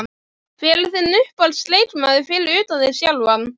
Hver er þinn uppáhalds leikmaður fyrir utan þig sjálfan?